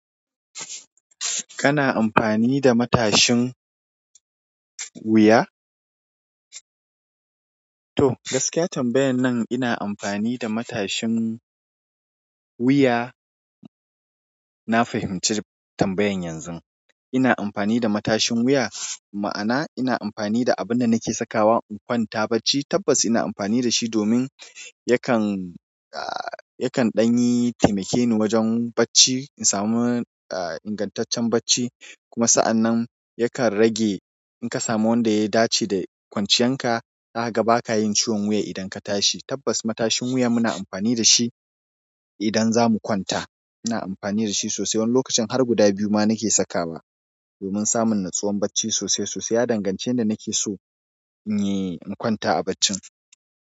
Kana amfani da matashin wuya? To, gaskiya tambayan nan ina amfani da matashin wuya. Na fahimci tambayan yanzu. Ina amfani da matashin wuya, ma'ana ina amfani da abunda nake sakawa in kwanta bacci tabbas ina amfani dashi domin yakan, ah, yakan ɗanyi taimakeni wajan bacci, in samu, ah, ingantaccen bacci. Kuma sa'anan, yakan rage in ka samu wanda ya dashe da kwanciyanka. Zaka baka yin ciwon wuya idan ka tashi. Tabbas matashin wuya muna amfani dashi idan zamu kwanta. Ina amfani dashi sosai. Wani lokacin har guda biyu ma nake sakawa. Domin samun natsuwan bacci sosai sosai. Ya danganshi yanda nake so, in yi, in kwanta a baccin.